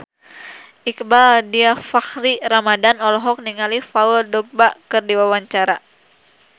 Iqbaal Dhiafakhri Ramadhan olohok ningali Paul Dogba keur diwawancara